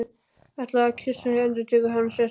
Ætlaði að kyssa þig, endurtekur hann og sest upp.